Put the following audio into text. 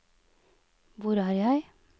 hvor er jeg